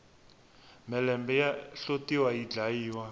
mhelembe ya hlotiwa yi dlayiwa